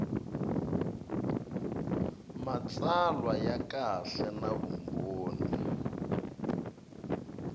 matsalwa ya kahle na vumbhoni